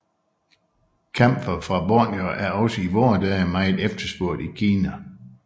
Kamfer fra Borneo er også i vore dage meget efterspurgt i Kina